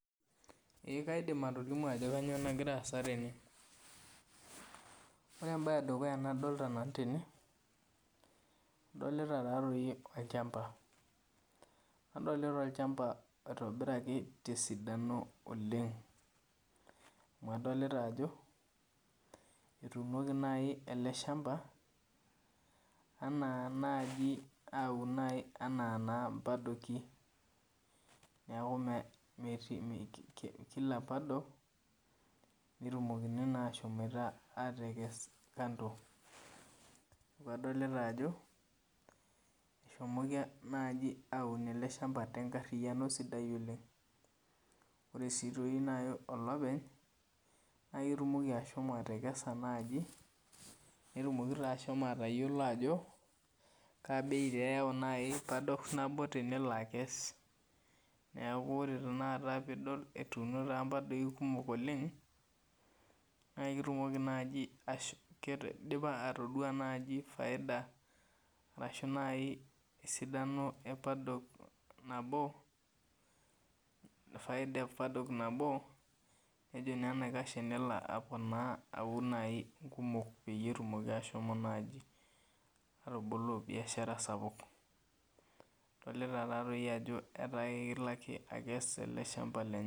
Ee kaidim atolimu ajo kanyio nagira aasa tenw ore embae edukuya nadolta tene adolita olchamba nadolta olchamba oitobira tesidano oleng amu adolta ajo etuunoli eleshamba ana naji aun ana mpadoki neaku metii kila padol netumoki ashomoita atekes kando Adolta ano eshomoki aun ele shamba tenkariano oleng ore si olopeny na ketumoki ashomo atekessa netumoki ashomo atayilo ajo kaabei eyau padok nabo tenelobakes nekau ore pidol etuuni mpadolk kumok oleng na kidipa atadua faida esidani epadok nano faida epadok nabo petumiki ashomo atuuno.